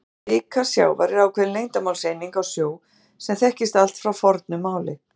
Vika sjávar er ákveðin lengdarmálseining á sjó sem þekkist allt frá fornu máli.